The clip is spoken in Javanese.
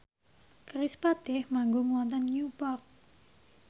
kerispatih manggung wonten Newport